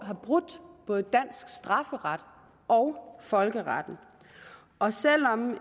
har brudt både dansk strafferet og folkeretten og selv om